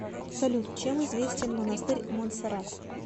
салют чем известен монастырь монсеррат